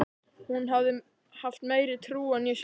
Hún hafði haft meiri trú en ég sjálf.